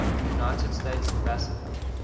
united states ambassador